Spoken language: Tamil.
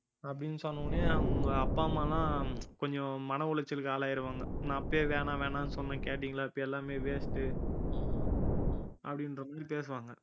அப்படின்னு சொன்னவுடனே அவங்க அப்பா அம்மா எல்லாம் கொஞ்சம் மன உளைச்சலுக்கு ஆளாயிருவாங்க நான் அப்பவே வேணாம் வேணாம்னு சொன்னேன் கேட்டீங்களா இப்ப எல்லாமே waste உ அப்படின்ற மாதிரி பேசுவாங்க